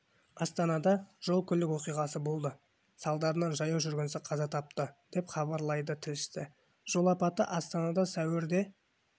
астанада жол-көлік оқиғасы болды салдарынан жаяу жүргінші қаза тапты деп хабарлайды тілшісі жол апаты астанада сәуірде